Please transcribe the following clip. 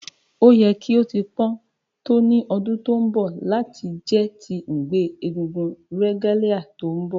O yẹ ki o ti pọn to ni ọdun to nbọ lati jẹ ti ngbe egúngún regalia ti nbọ